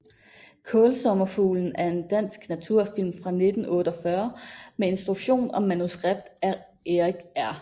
Kaalsommerfuglen er en dansk naturfilm fra 1948 med instruktion og manuskript af Erik R